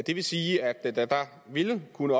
vi kunne